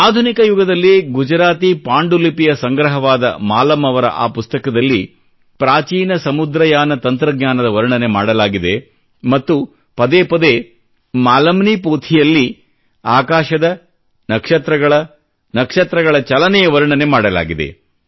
ಆಧುನಿಕ ಯುಗದಲ್ಲಿ ಗುಜರಾತಿ ಪಾಂಡುಲಿಪಿಯ ಸಂಗ್ರಹವಾದ ಮಾಲಮ್ ಅವರ ಆ ಪುಸ್ತಕದಲ್ಲಿ ಪ್ರಾಚೀನ ಸಮುದ್ರಯಾನ ತಂತ್ರಜ್ಞಾನದ ವರ್ಣನೆ ಮಾಡಲಾಗಿದೆ ಮತ್ತು ಪದೇ ಪದೇ ಮಾಲಮ್ ನಿ ಪೋಥಿ ಯಲ್ಲಿ ಆಕಾಶದ ನಕ್ಷತ್ರಗಳ ನಕ್ಷತ್ರಗಳ ಚಲನೆಯ ವರ್ಣನೆ ಮಾಡಲಾಗಿದೆ